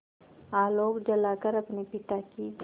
आलोक जलाकर अपने पिता की